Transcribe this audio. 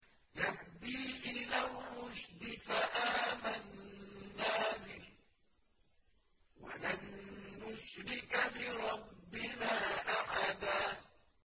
يَهْدِي إِلَى الرُّشْدِ فَآمَنَّا بِهِ ۖ وَلَن نُّشْرِكَ بِرَبِّنَا أَحَدًا